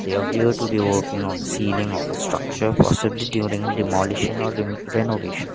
they appear to be working on the ceiling of a structure possibly during demolition or ren renovation.